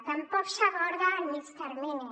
tampoc s’aborda el mitjà termini